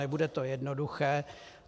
Nebude to jednoduché.